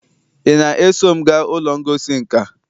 ị na-eso m gaa ụlọ ngosi nka?